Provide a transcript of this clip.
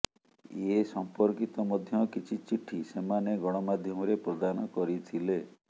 ଏସଂପର୍କିତ ମଧ୍ୟ କିଛି ଚିଠି ସେମାନେ ଗଣମାଧ୍ୟମରେ ପ୍ରଦାନ କରିଥିଲେ